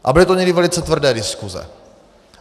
A byly to někdy velice tvrdé diskuse.